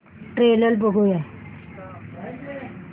trailer बघूया